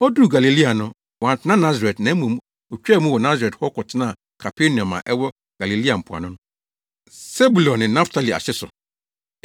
Oduu Galilea no, wantena Nasaret, na mmom otwaa mu wɔ Nasaret hɔ kɔtenaa Kapernaum a ɛwɔ Galilea mpoano no, Sebulon ne Naftali ahye so.